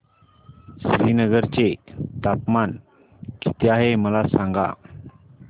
श्रीनगर चे तापमान किती आहे मला सांगा